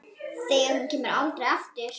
Þegar hún kemur aldrei aftur.